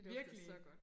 Virkelig